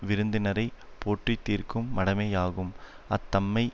விருந்தினரை போற்றாதிருக்கும் மடமையாகும் அத்தன்மை